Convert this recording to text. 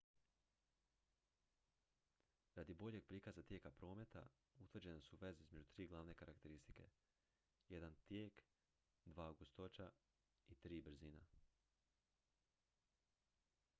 radi boljeg prikaza tijeka prometa utvrđene su veze između tri glavne karakteristike: 1 tijek 2 gustoća i 3 brzina